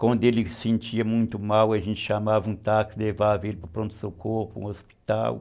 Quando ele se sentia muito mal, a gente chamava um táxi, levava ele para o pronto-socorro, para o hospital.